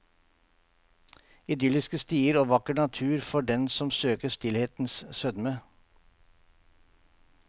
Idylliske stier og vakker natur for den som søker stillhetens sødme.